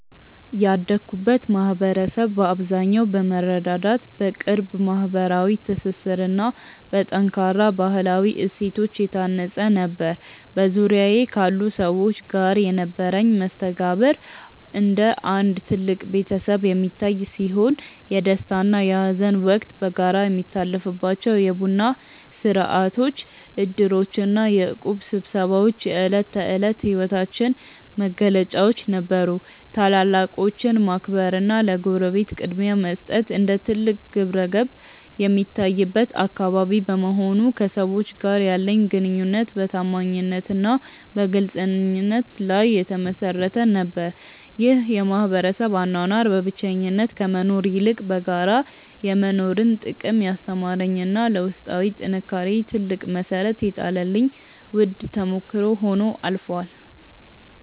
ያደግኩበት ማኅበረሰብ በአብዛኛው በመረዳዳት፣ በቅርብ ማኅበራዊ ትስስርና በጠንካራ ባሕላዊ እሴቶች የታነፀ ነበር። በዙሪያዬ ካሉ ሰዎች ጋር የነበረኝ መስተጋብር እንደ አንድ ትልቅ ቤተሰብ የሚታይ ሲሆን፣ የደስታና የሐዘን ወቅት በጋራ የሚታለፍባቸው የቡና ሥርዓቶች፣ ዕድሮችና የእቁብ ስብሰባዎች የዕለት ተዕለት ሕይወታችን መገለጫዎች ነበሩ። ታላላቆችን ማክበርና ለጎረቤት ቅድሚያ መስጠት እንደ ትልቅ ግብረገብ የሚታይበት አካባቢ በመሆኑ፣ ከሰዎች ጋር ያለኝ ግንኙነት በታማኝነትና በግልጽነት ላይ የተመሠረተ ነበር። ይህ የማኅበረሰብ አኗኗር በብቸኝነት ከመኖር ይልቅ በጋራ የመኖርን ጥቅም ያስተማረኝና ለውስጣዊ ጥንካሬዬ ትልቅ መሠረት የጣለልኝ ውድ ተሞክሮ ሆኖ አልፏል።